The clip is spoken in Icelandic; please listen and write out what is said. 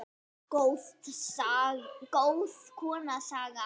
Góð kona, Saga.